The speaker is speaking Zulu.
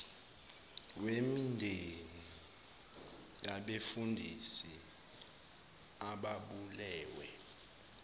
wemindeni yabefundisi ababulewe